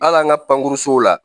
Hal'an ka pankurusow la